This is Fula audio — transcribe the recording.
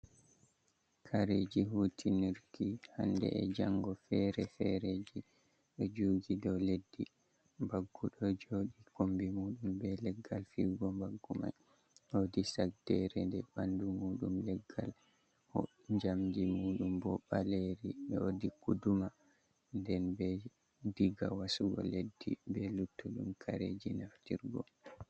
Kareeji hutinurki hannde e janngo ferefere ji ,ɗo jooɗi ɗo leddi, baggu ɗo joɗi kombi muuɗum ,be leggal fi'ugo baggu may. Woodi sagddeere nde ɓanndu muuɗum leggal njamndi muuɗum bo ɓaleeri ,woodi guduma ,nden be diga wasugo leddi ,be luttuɗum kareeji naftirgo.